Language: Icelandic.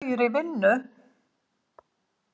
Þau í vinnu.